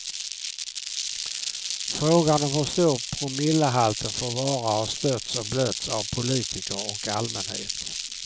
Frågan om hur stor promillehalten får vara har stötts och blötts av politiker och allmänhet.